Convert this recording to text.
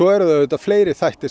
eru auðvitað aðrir þættir